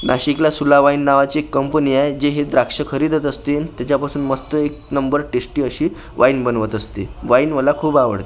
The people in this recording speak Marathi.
नाशिकला सुला वाईन नावाची एक कंपनी आहे जी हे द्राक्ष खरेदीत असतील त्याच्यापासून मस्त एक नंबर टेस्टी अशी वाईन बनवत असतील वाईन मला खूप आवड --